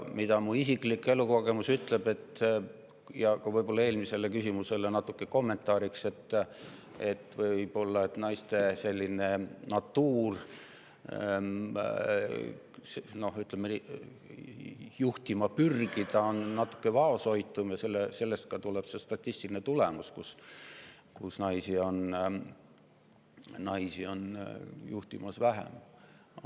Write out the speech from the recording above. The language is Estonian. Minu isiklik elukogemus ütleb seda – eelmisele küsimusele kommentaariks –, et võib-olla naiste selline, ütleme, natuur juhtima pürgida on natuke vaoshoitum ja sellest ka statistiline tulemus, et naisi on juhtimas vähem.